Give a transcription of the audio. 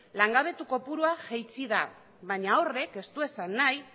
langabetu kopurua jaitsi da baina horrek ez du esan nahi